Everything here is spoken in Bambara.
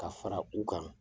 Ka fara u kan